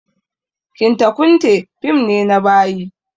Kinta kunte fim ne na bayi